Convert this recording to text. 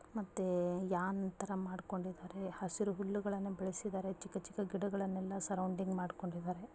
ಮತ್ತೆ ಯಾಂತರ ಮಾಡ್ಕೊಂಡಿದ್ದಾರೆ. ಹಸಿರು ಹುಲ್ಲುಗಳನ್ನು ಬೆಳೆಸಿದರೆ ಚಿಕ್ಕಚಿಕ್ಕ ಗಿಡಗಳನ್ನೆಲ್ಲ ಸರೌಂಡಿಂಗ್ ಮಾಡಿಕೊಂಡಿದರೆ.